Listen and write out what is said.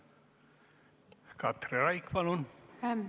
Katri Raik, palun!